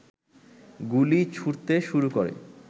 গুলি ছুঁড়তে শুরু করে